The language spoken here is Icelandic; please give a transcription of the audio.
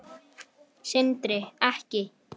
Hverju skilaði það?